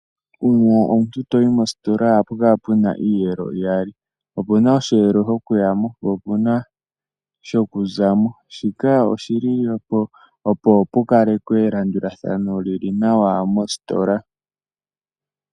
Uuna omuntu toyi mositola ohapukala puna iiyelo iyali opuna oshelo shokuyamo po opuna shokuzamo shika oshililepo opo pukalekwe elanduladhano lili nawa mositola.